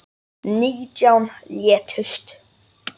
Nítján létust.